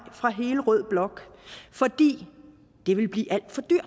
fra hele rød blok fordi det ville blive